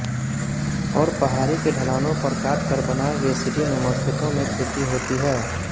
और पहाड़ी के ढ़लानों पर काटकर बनाए गए सीढ़ीनुमा खेतों में खेती होती है